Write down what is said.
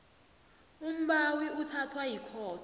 umbawi uthathwa yikhotho